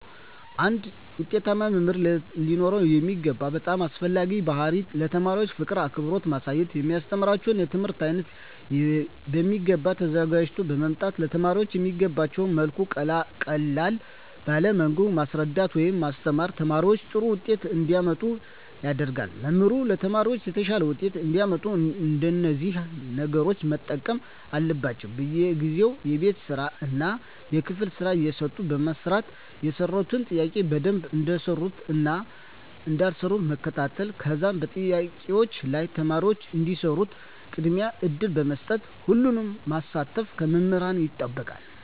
አንድ ዉጤታማ መምህር ሊኖረዉ የሚገባ በጣም አስፈላጊዉ ባህሪይ ለተማሪዎች ፍቅርን አክብሮትን ማሳየት የሚያስተምራቸዉን የትምህርት አይነት በሚገባ ተዘጋጅተዉ በመምጣት ለተማሪዎች በሚገቧቸዉ መልኩ ቀለል ባለ መንገድ ማስረዳት ወይም ማስተማር ተማሪዎች ጥሩ ዉጤት እንዲያመጡ ያደርጋል መምህራን ለተማሪዎች የተሻለ ዉጤት እንዲያመጡ እነዚህን ነገሮች መጠቀም አለባቸዉ በየጊዜዉ የቤት ስራእና የክፍል ስራ እየሰጡ በማሰራት የሰሩትን ጥያቄዎች በደንብ እንደሰሩትእና እንዳልሰሩት መከታተል ከዛም በጥያቄዎች ላይ ተማሪዎች እንዲሰሩት ቅድሚያ እድል በመስጠት ሁሉንም ማሳተፍ ከመምህራን ይጠበቃል